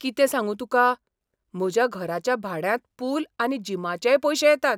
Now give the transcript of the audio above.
कितें सांगू तुका. म्हज्या घराच्या भाड्यांत पूल आनी जिमाचेय पयशे येतात.